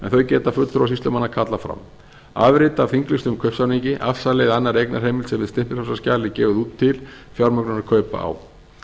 þau geta fulltrúar sýslumanns kallað fram a afrit af þinglýstum kaupsamningi afsali eða annarri eignarheimild sem hið stimpilfrjálsa skjal er gefið út til fjármögnunar kaupa á